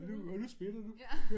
Og nu og nu smitter du